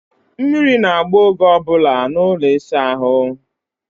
Mmiri na-agba oge ọ bụla n'ụlọ ịsa ahụ.